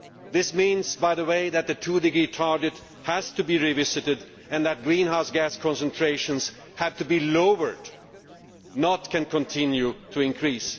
This means, by the way, that the 2°C target has to be revisited and that greenhouse gas concentrations have to be lowered, rather than continuing to increase.